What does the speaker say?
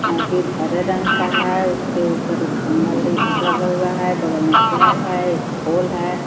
मस्जिद हरे रंग का है उसके ऊपर एक खम्भा ली-लगा हुआ है बगल में पेड़ है एक पोल है.